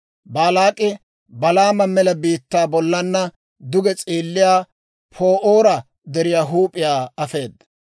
Baalaak'i Balaama mela biittaa bollana duge s'eelliyaa Pa'oora Deriyaa huup'iyaa afeeda.